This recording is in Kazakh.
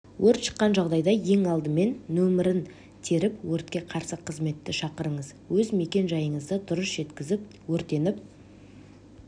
өрт шыққан жағдайда ең алдымен нөмірін теріп өртке қарсы қызметті шақырыңыз өз мекен-жайыңызды дұрыс жеткізіп өртеніп